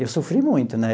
Eu sofri muito, né?